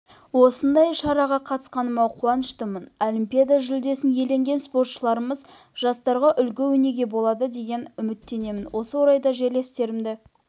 осындай шараға қатысқаныма қуаныштымын олимпиада жүлдесін иеленген спортшыларымыз жастарға үлгі-өнеге болады деген үміттемін осы орайда жерлестерімді